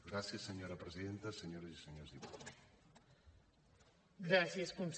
gràcies senyora presidenta senyores i senyors diputats